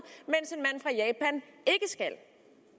men